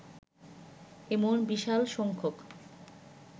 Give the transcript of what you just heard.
এমন বিশাল সংখ্যক